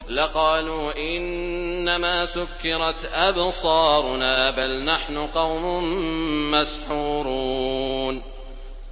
لَقَالُوا إِنَّمَا سُكِّرَتْ أَبْصَارُنَا بَلْ نَحْنُ قَوْمٌ مَّسْحُورُونَ